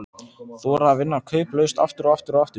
Þora að vinna kauplaust, aftur og aftur og aftur.